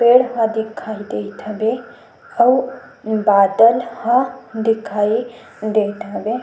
पेड़ ह दिखाई देत हवे अऊ बादल ह दिखाई देत हवे।